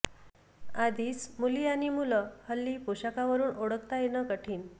आधीच मुली आणि मुलं हल्ली पोषाखावरून ओळखता येणं कठीण